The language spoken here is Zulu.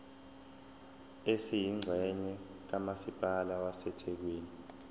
esiyingxenye kamasipala wasethekwini